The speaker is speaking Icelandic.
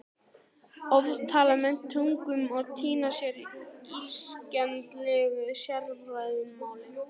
Oft tala menn tungum og týna sér í illskiljanlegu sérfræðimáli.